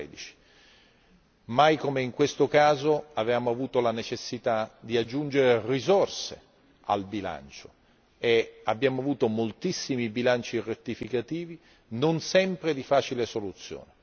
2013. Mai come in questo caso si era presentata la necessità di aggiungere risorse al bilancio e abbiamo avuto moltissimi bilanci rettificativi, non sempre di facile soluzione.